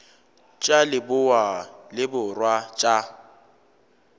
tša leboa le borwa tša